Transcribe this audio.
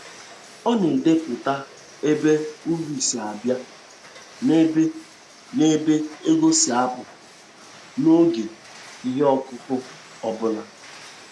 Ọ na-edepụta ebe uru si abịa na ebe na ebe ego si apụ, n'oge ihe ọkụkụ ọ bụla.